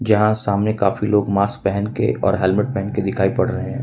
यहां सामने काफी लोग मास्क पहन के और हेलमेट पहन के दिखाई पड़ रहे हैं।